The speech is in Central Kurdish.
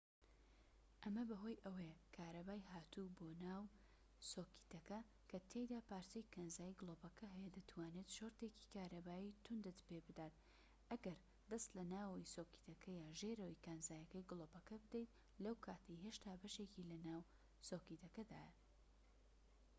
ئەمە بەهۆی ئەوەیە کارەبای هاتوو بۆ ناو سۆکێتەکە کە تیایدا پارچەی کانزایی گلۆپەکە هەیە دەتوانێت شۆرتێکی کارەبایی توندت پێ بدات ئەگەر دەست لە ناوەوەی سۆکێتەکە یان ژێرەوە کانزاییەکەی گلۆپەکە بدەیت لەو کاتەی هێشتا بەشێکی لە ناو سۆکێتەکەدایە